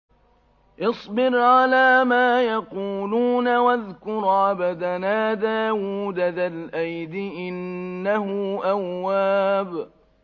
اصْبِرْ عَلَىٰ مَا يَقُولُونَ وَاذْكُرْ عَبْدَنَا دَاوُودَ ذَا الْأَيْدِ ۖ إِنَّهُ أَوَّابٌ